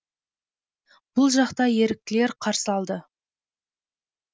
бұл жақта еріктілер қарсы алды